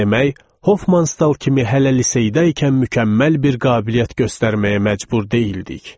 Demək, Hofman Stal kimi hələ liseydəykən mükəmməl bir qabiliyyət göstərməyə məcbur deyildik.